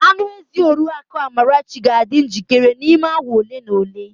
Anụ ezi oriakụ Amara ga-adị njikere n'ime awa ole na ole.